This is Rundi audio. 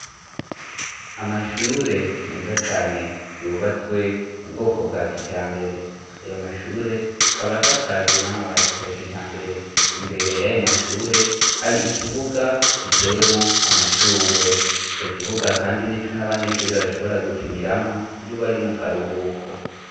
Amashure meza cane yubatswe mu bwoko bwa kijambere. Ayo mashure akaba asakajwe n'amabati ya kijambere. Imbere y'ayo mashure hari ikibuga gitewemo amashurwe. Ico kibuga kandi n'ico n'abanyeshuri bashobora gukiniramo iyo bari mu karuhuko.